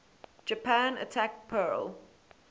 japan attacked pearl